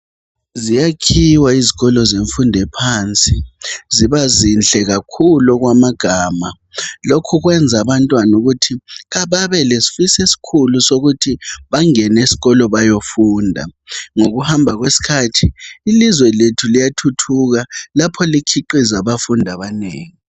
Ziyakhiwa izikolo semfundo ephansi ziba zinhle kakhulu okwamagama lokhu kwenza abantwana ukuthi babelesifiso esikhulu sokuthi bangene esikolo bayefunda ngokuhamba kwesikhathi ilizwe lethu liyathuthuka lapho likhiqiza abafundi abanengi.